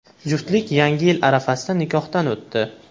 Juftlik yangi yil arafasida nikohdan o‘tdi.